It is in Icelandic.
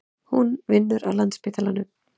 Hún vinnur á Landspítalanum.